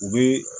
U bɛ